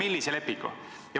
Kolmemillise lepingu.